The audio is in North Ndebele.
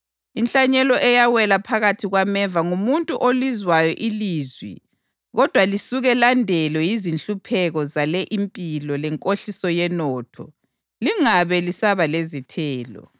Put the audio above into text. Inhlanyelo eyawela phakathi kwameva ngumuntu olizwayo ilizwi kodwa lisuke landelwe yizinhlupheko zale impilo lenkohliso yenotho, lingabe lisaba lezithelo.